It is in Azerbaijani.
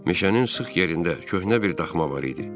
Meşənin sıx yerində köhnə bir daxma var idi.